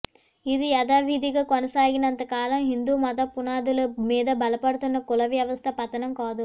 ఇది యథావిధిగా కొనసాగినంత కాలం హిందూ మత పునాదుల మీద బలపడుతున్న కుల వ్యవస్థ పతనం కాదు